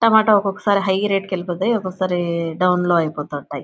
Tomato ఒకొక్కసారి high rate కి వెళ్పోతాయి. ఒకొక్కసారి డౌన్ లో ఐపొతాయి .